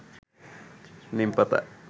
নিমপাতা